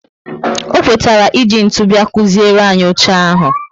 O kwetara e ji ntụ bia kuziere anyị oche ahụ